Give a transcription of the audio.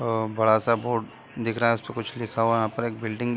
अ बड़ा सा बोर्ड दिख रहा है उसपे कुछ लिखा हुआ है यहाँ पर एक बिल्डिंग --